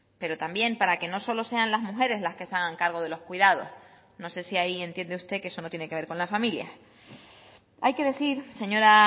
pero también para que no solo sean las mujeres las que se hagan cargo de los cuidados no sé si ahí entiende usted que eso no tiene que ver con las familias hay que decir señora